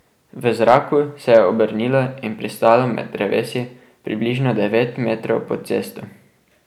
V zraku se je obrnilo in pristalo med drevesi približno devet metrov pod cesto.